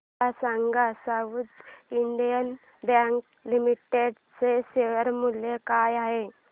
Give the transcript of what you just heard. मला सांगा South Indian Bank Limited चे शेअर मूल्य काय आहे